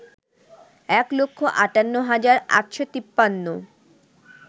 এক লক্ষ আটান্ন হাজার আটশ তিপান্ন